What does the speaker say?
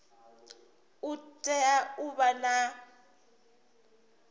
u tea u vha na